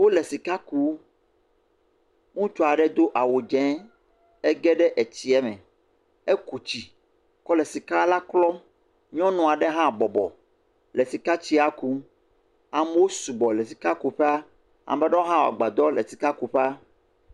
Wole sika kum. Ŋutsu aɖe do awu dze ege ɖee etsia me. Eku tsi klɔle sika la klɔm. Nyɔnu aɖe hã bɔbɔ le sikatsia kum. Amewo sugbɔ le sikakuƒea. Ame aɖewo hã wɔ agbadɔ le sikakuƒea.